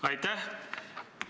Aitäh!